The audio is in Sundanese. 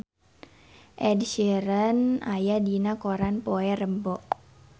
Ed Sheeran aya dina koran poe Rebo